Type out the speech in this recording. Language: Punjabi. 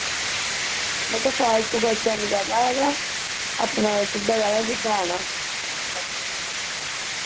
ਮੈਂ ਕਿਹਾ ਫਾਲਤੂ ਖਰਚਾ ਨੀ ਕਰਨਾ ਹੇਗਾ ਆਪਣਾ ਸਿੱਧਾ ਆ ਜਾ ਜਿੰਦਾ ਆਣਾ